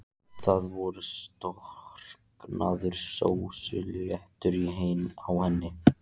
Það voru storknaðar sósuslettur á henni.